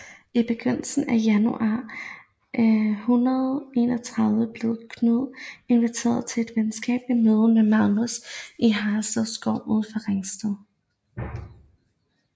I begyndelsen af januar 1131 blev Knud inviteret til et venskabeligt møde med Magnus i Haraldsted Skov uden for Ringsted